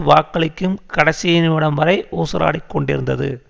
வாக்களிக்கும் கடைசி நிமிடம் வரை ஊசலாடிக்கொண்டிருந்தது